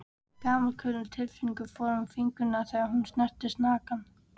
Gamalkunnug tilfinning fór um fingurna þegar hún snerti snagann.